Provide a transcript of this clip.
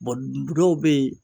dɔw bɛ yen.